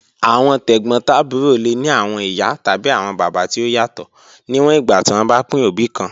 Awọn tegbotaburo le ni awọn iya tabi awọn baba ti o yatọ, niwọn igba ti wọn ba pin obi kan.